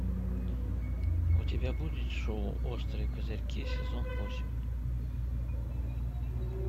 у тебя будет шоу острые козырьки сезон восемь